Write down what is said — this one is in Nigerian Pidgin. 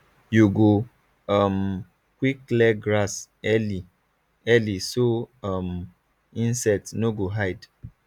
you go um quick clear grass early early so um insect no go hide